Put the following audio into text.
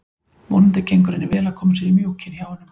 Vonandi gengur henni vel að koma sér í mjúkinn hjá honum.